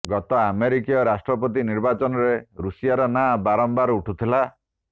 ଗତ ଆମେରିକୀୟ ରାଷ୍ଟ୍ରପତି ନିର୍ବାଚନରେ ରୁଷିଆର ନାଁ ବାରମ୍ବାର ଉଠୁଥିଲା